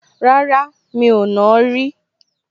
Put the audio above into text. Rárá, mi ò nàá rí